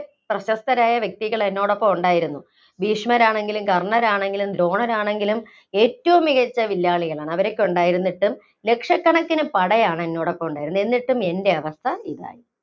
പ്രശസ്തരായ വ്യക്തികള്‍ എന്നോടൊപ്പം ഉണ്ടായിരുന്നു. ഭീഷ്മർ ആണെങ്കിലും, കർണർ ആണെങ്കിലും, ദ്രോണർ ആണെങ്കിലും ഏറ്റവും മികച്ച വില്ലാളികളാണ്. അവരൊക്കെ ഉണ്ടായിരുന്നിട്ടും, ലക്ഷക്കണക്കിന് പടയാണ് എന്നോടൊപ്പം ഉണ്ടായിരുന്നത്. എന്നിട്ടും എന്‍റെ അവസ്ഥ ഇതായി.